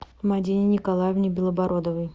мадине николаевне белобородовой